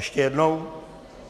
Ještě jednou?